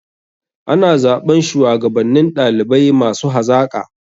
Ana zaɓan shuwagabannin ɗalibai masu hazaƙa.